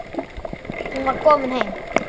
Hún var komin heim.